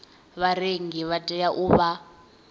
vharengi vha tea u vha